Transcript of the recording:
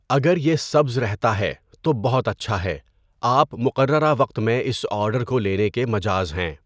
اگر یہ سبز رہتا ہے، تو بہت اچھا ہے، آپ مقررہ وقت میں اس آرڈر کو لینے کے مجاز ہیں۔